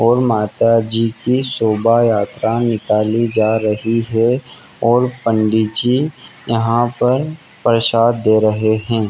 और माता जी की शोभा यात्रा निकाली जा रही है और पंडि जी यहां पर प्रसाद दे रहे हैं।